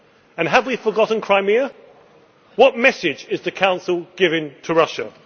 And have we forgotten Crimea? What message is the Council giving to Russia?